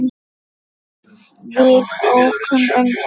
Við ókum um Evrópu.